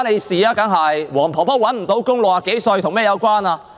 六十多歲的黃婆婆找不到工作，與甚麼有關呢？